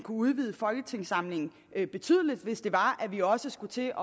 udvide folketingssamlingen betydeligt hvis det var at vi også skulle til